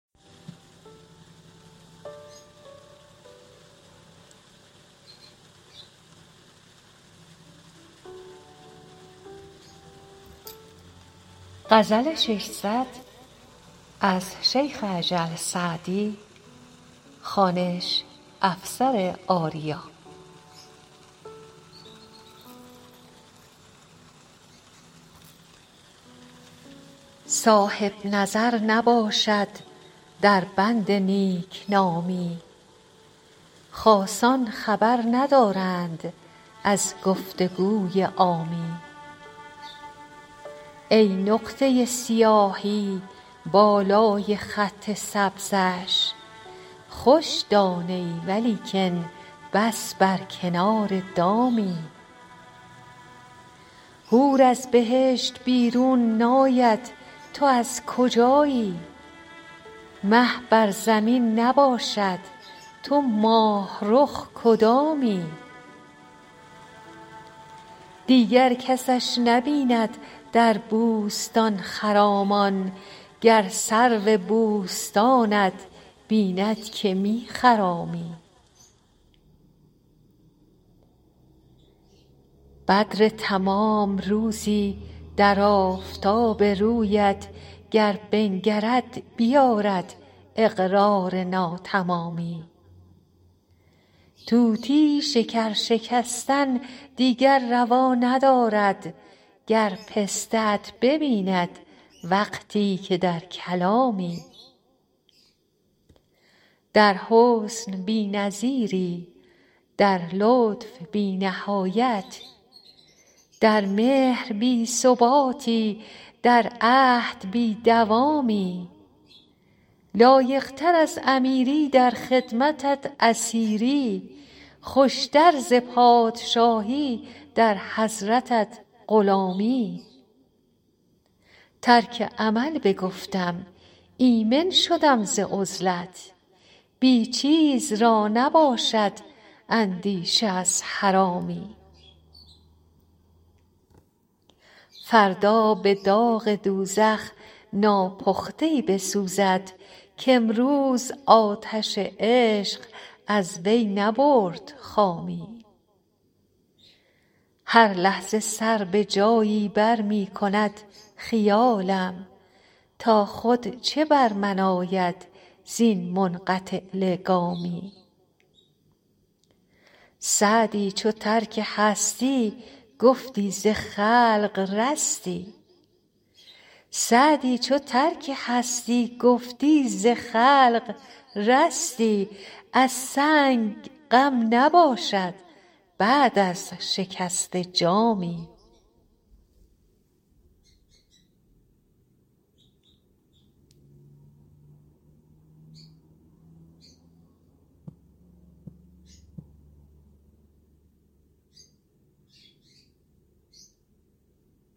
صاحب نظر نباشد در بند نیک نامی خاصان خبر ندارند از گفت و گوی عامی ای نقطه سیاهی بالای خط سبزش خوش دانه ای ولیکن بس بر کنار دامی حور از بهشت بیرون ناید تو از کجایی مه بر زمین نباشد تو ماه رخ کدامی دیگر کسش نبیند در بوستان خرامان گر سرو بوستانت بیند که می خرامی بدر تمام روزی در آفتاب رویت گر بنگرد بیآرد اقرار ناتمامی طوطی شکر شکستن دیگر روا ندارد گر پسته ات ببیند وقتی که در کلامی در حسن بی نظیری در لطف بی نهایت در مهر بی ثباتی در عهد بی دوامی لایق تر از امیری در خدمتت اسیری خوش تر ز پادشاهی در حضرتت غلامی ترک عمل بگفتم ایمن شدم ز عزلت بی چیز را نباشد اندیشه از حرامی فردا به داغ دوزخ ناپخته ای بسوزد کامروز آتش عشق از وی نبرد خامی هر لحظه سر به جایی بر می کند خیالم تا خود چه بر من آید زین منقطع لگامی سعدی چو ترک هستی گفتی ز خلق رستی از سنگ غم نباشد بعد از شکسته جامی